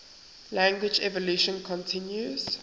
language evolution continues